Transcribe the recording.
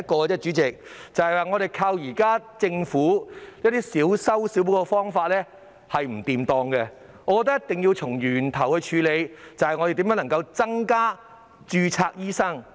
代理主席，我們依靠現時政府小修小補的方法是行不通的，我覺得一定要從源頭處理，探討如何增加註冊醫生。